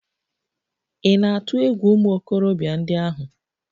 Ị̀ na-atụ egwu ụmụ okorobịa ndị ahụ?